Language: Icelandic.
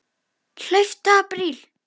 Hlauptu apríl.